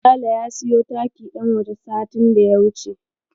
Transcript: Sale ya siyo taki ɗan waje satin da ya wuce.